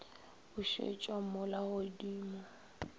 bušetšwa mo la go di